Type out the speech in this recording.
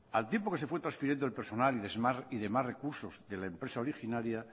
al tiempo que se fue transfiriendo el personal y demás recursos de la empresa originaria